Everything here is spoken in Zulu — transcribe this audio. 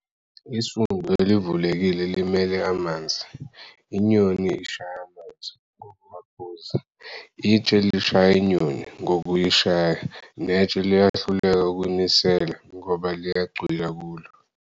Isundu elivulekile limele "amanzi". Inyoni ishaya amanzi, ngokuwaphuza, itshe lishaya inyoni, ngokuyishaya, netshe lihluleka ukunisela ngoba liyacwila kulo.